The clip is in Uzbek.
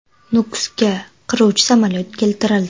Nukusga qiruvchi samolyot keltirildi .